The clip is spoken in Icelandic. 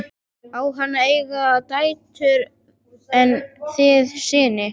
Á Hann að eiga dætur en þið syni?